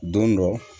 Don dɔ